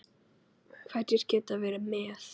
Hverjir geta verið með?